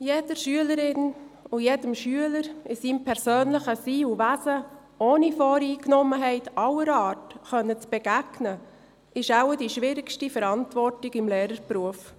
Jeder Schülerin und jedem Schüler in seinem persönlichen Sein und Wesen ohne Voreingenommenheit aller Art begegnen zu können, ist wohl die schwierigste Verantwortung im Lehrerberuf.